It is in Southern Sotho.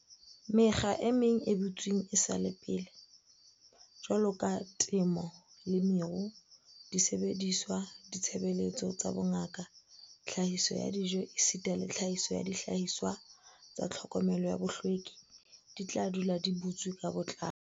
"Mekga e meng e butsweng esale pele, jwaloka temo le meru, disebediswa, ditshebeletso tsa bongaka, tlhahiso ya dijo esita le tlhahiso ya dihlahiswa tsa tlhokomelo ya bohlweki, di tla dula di butswe ka botlalo."